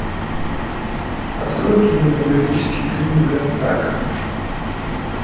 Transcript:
открой кинематографический фильм гаттака